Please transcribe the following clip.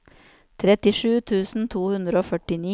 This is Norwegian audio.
trettisju tusen to hundre og førtini